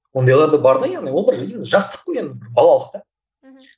ондайлар да бар да енді олар бір жастық қой енді балалық та мхм